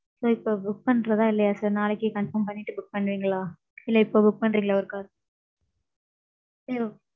sir இப்போ book பண்றதா இல்லையா sir? நாளைக்கு confirm பண்ணிட்டு book பண்றீங்களா? இல்ல இப்போ book பண்ணறீர்களா ஓரு car? hello